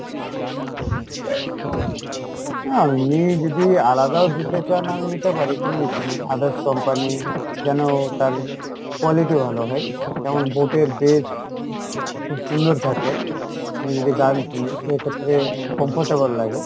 হ্যাঁ এমনি যদি আলাদাও দিতে চান আমি নিতে পারি কোনো issue নেই, others company যেনো তার quality ভালো হয়, যেমন Boat এর বেশ খুব সুন্দর থাকে আমি যদি গান শুনি সেইক্ষেত্রে comfortable লাগে